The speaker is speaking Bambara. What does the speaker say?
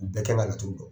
U bɛɛ kan ka laturu dɔn